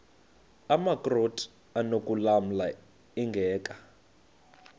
amakrot anokulamla ingeka